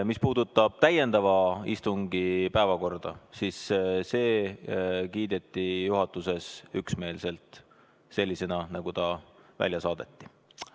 Mis puudutab täiendava istungi päevakorda, siis see kiideti juhatuses heaks üksmeelselt sellisena, nagu ta välja saadeti.